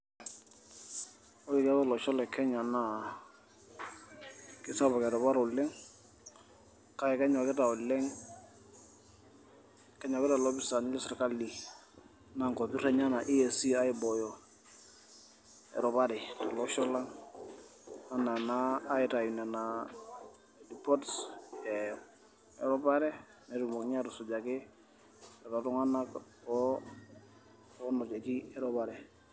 Ore tiatua olosho lekenya naa kesapuk eropare oleng' kake kenyokita oleng' kenyokita ilopisani lesirkali naa inkopirr enyanak' eac aibooyo eropare tolosho lang' enaa ena aitau nenaa poots eropare peetumokini aatusujaki lelo Tung'anak oonotieki eropare.